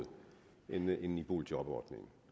end i boligjobordningen